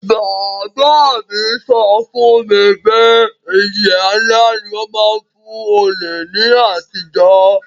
Bàbá mi so fún mi pe ìjìyà nlá ni won má n fun olè ni àtijó